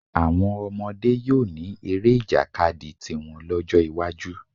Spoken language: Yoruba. Àwọn ọmọdé yóò ní eré ìjàkadì tiwọn lọ́jọ́ iwájú